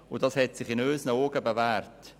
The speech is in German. Dieses System hat sich aus unserer Sicht bewährt.